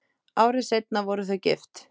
Ári seinna voru þau gift.